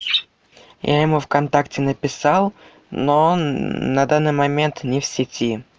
я ему вконтакте написал но он на данный момент не в сети